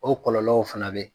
O kɔlɔlɔw fana bɛ